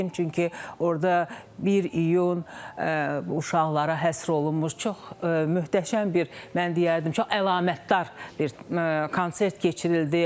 Çünki orda 1 iyun uşaqlara həsr olunmuş çox möhtəşəm bir, mən deyərdim, çox əlamətdar bir konsert keçirildi.